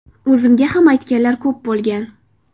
O‘zimga ham aytganlar ko‘p bo‘lgan.